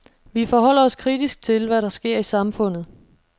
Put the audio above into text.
Vi forholder os kritisk til, hvad der sker i samfundet.